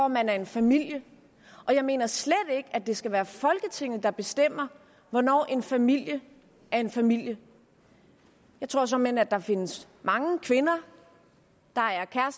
man er en familie og jeg mener slet ikke at det skal være folketinget der bestemmer hvornår en familie er en familie jeg tror såmænd at der findes mange kvinder